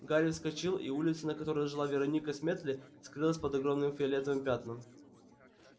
гарри вскочил и улица на которой жила вероника сметли скрылась под огромным фиолетовым пятном